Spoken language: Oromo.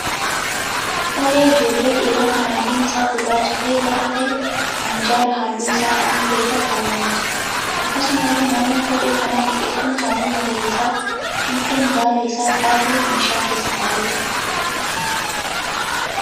Kophee ijoollee dhiiraa kan halluun isaa gurraacha ta'e lama ta'ee minjaala halluu isaa adii ta'e irra kaawwamee jira. Akkasumallee naannoo kophee kanaa biqiltuun halluu magariisa fiixeen baala isaa qara ta'e meeshaa keessa ta'aa jira.